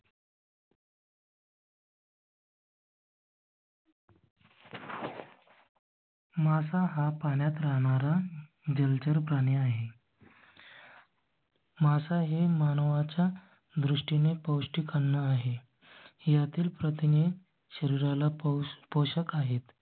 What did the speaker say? मासा हा पाण्यात राहणारा जलचर प्राणी आहे. मासा हे मानवा च्या दृष्टीने पौष्टिक अन्न आहे. यातील प्रथिने शरीरा ला पाऊस पोषक आहेत.